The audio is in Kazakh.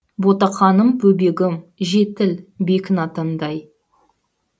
ботақаным бөбегім жетіл бекін атандай